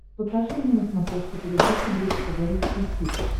покажи мне на смотрешке передачу бридж тв русский хит